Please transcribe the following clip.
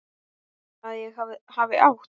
Að ég hafi átt?